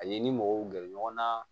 Ani ni mɔgɔw gɛrɛ ɲɔgɔn na